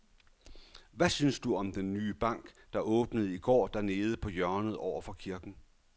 Hvad synes du om den nye bank, der åbnede i går dernede på hjørnet over for kirken?